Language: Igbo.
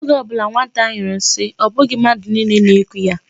Oge ọ bụla nwata nyụrụ nsi, ọ bụghị mmadụ niile na-eku ya.